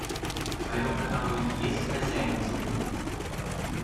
в твоем каталоге есть хозяин джунглей